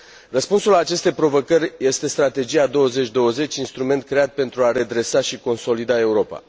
Răspunsul la aceste provocări este Strategia 2020, instrument creat pentru a redresa și consolida Europa.